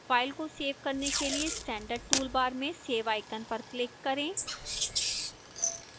file को save करने के लिए standard toolbar में save icon पर click करें